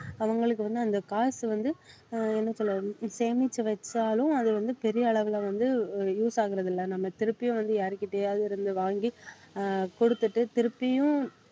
அவங்களுக்கு வந்து அந்த காசு வந்து ஆஹ் என்ன சொல்றது சேமிச்சு வச்சாலும் அது வந்து பெரிய அளவுல வந்து use ஆகுறது இல்லை. நம்ம திருப்பியும் வந்து யார்கிட்டயாவது இருந்து வாங்கி ஆஹ் கொடுத்துட்டு திருப்பியும்